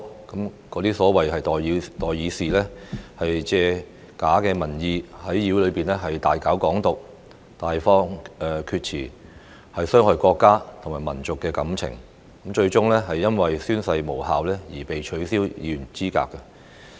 那些所謂"代議士"，借假民意在議會內大搞"港獨"，大放厥詞，傷害國家和民族感情，最終因宣誓無效而被取消議員資格。